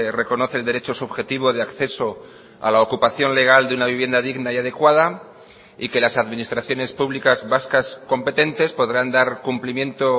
reconoce el derecho subjetivo de acceso a la ocupación legal de una vivienda digna y adecuada y que las administraciones públicas vascas competentes podrán dar cumplimiento